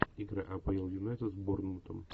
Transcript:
игра апл юнайтед с борнмутом